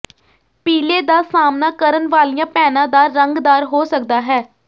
ਪੀਲੇ ਦਾ ਸਾਹਮਣਾ ਕਰਨ ਵਾਲੀਆਂ ਭੈਣਾਂ ਦਾ ਰੰਗਦਾਰ ਹੋ ਸਕਦਾ ਹੈ